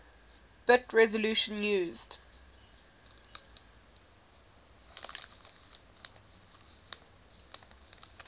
bit resolution used